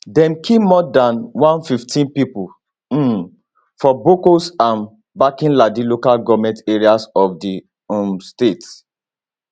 dem kill more dan 115 pipo um for bokkos and barkinladi local goment areas of di um state